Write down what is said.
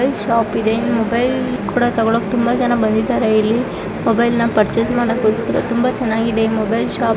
Mobile shop ಇದೆ mobile ಕೂಡ ತೊಗೊಳಕ್ಕೆ ತುಂಬಾ ಜನ ಬಂದಿದ್ದಾರೆ ಮೊಬೈಲ್ ನಂಬರ್ ತುಂಬಾ ಚೆನ್ನಾಗಿದೆ ಈ ಮೊಬೈಲ್ ಶಾಪ್.